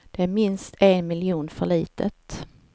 Det är minst en miljon för litet.